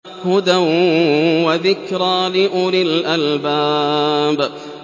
هُدًى وَذِكْرَىٰ لِأُولِي الْأَلْبَابِ